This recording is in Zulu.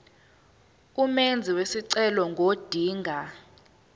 umenzi wesicelo ngodinga